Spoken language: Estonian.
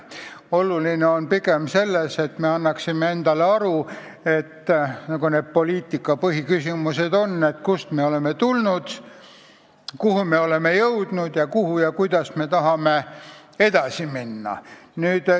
Oluline on pigem see, et me annaksime endale aru poliitika põhiküsimustes: kust me oleme tulnud, kuhu me oleme jõudnud ning kuhu ja kuidas me tahame edasi minna.